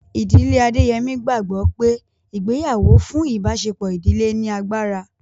Ìdílé Adéyẹmí gbàgbọ́ pé ìgbéyàwó fún ìbáṣepọ̀ ìdílé ní agbára